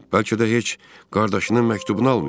Bəlkə də heç qardaşının məktubunu almayıb.